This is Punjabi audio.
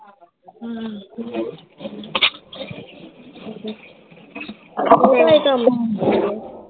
ਭੇਤ ਆਉਂਦਾ ਹੁੰਦਾ ਏ